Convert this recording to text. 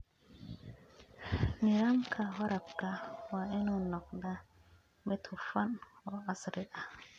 Nidaamka waraabka waa inuu noqdaa mid hufan oo casri ah.